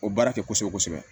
O baara kɛ kosɛbɛ kosɛbɛ